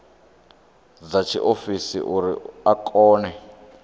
dza tshiofisi uri a kone